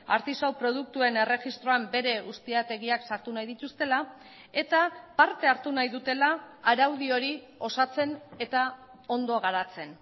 artisau produktuen erregistroan bere ustiategiak sartu nahi dituztela eta parte hartu nahi dutela araudi hori osatzen eta ondo garatzen